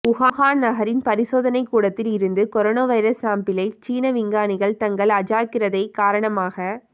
Wuhan நகரின் பரிசோதனை கூடத்தில் இருந்து கொரோனா வைரஸ் சேம்பிளை சீன விஞ்ஞானிகள் தங்கள் அஜாக்கிரதை காரணமாக